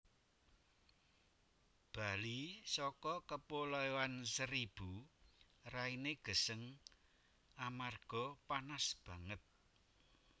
Bali soko Kepulauan Seribu raine geseng amarga panas banget